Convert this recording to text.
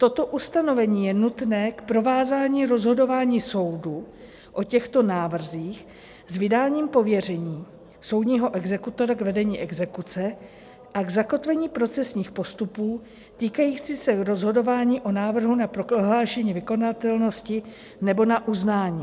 Toto ustanovení je nutné k provázání rozhodování soudu o těchto návrzích s vydáním pověření soudního exekutora k vedení exekuce a k zakotvení procesních postupů, týkajících se rozhodování o návrhu na prohlášení vykonatelnosti nebo na uznání.